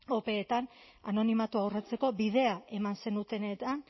opeetan anonimatua urratzeko bidea eman zenutenean